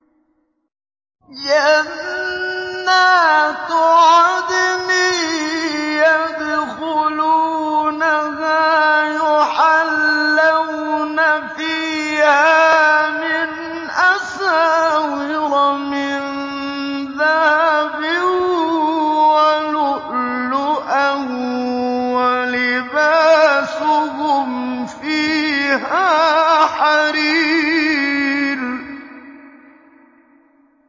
جَنَّاتُ عَدْنٍ يَدْخُلُونَهَا يُحَلَّوْنَ فِيهَا مِنْ أَسَاوِرَ مِن ذَهَبٍ وَلُؤْلُؤًا ۖ وَلِبَاسُهُمْ فِيهَا حَرِيرٌ